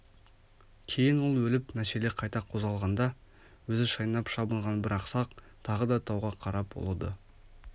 кейін ол өліп мәселе қайта қозғалғанда өзі шайнап шабынған бір ақсақ тағы да тауға қарап ұлыды